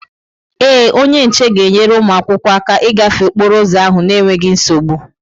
Ee, onye nche ga-enyere ụmụ akwụkwọ aka ịgafe okporo ụzọ ahụ n'enweghị nsogbu.